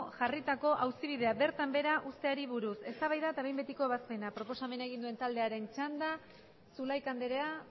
jarritako auzibidea bertan behera uzteari buruz eztabaida eta behin betiko ebazpena proposamena egin duen taldearen txanda zulaika andrea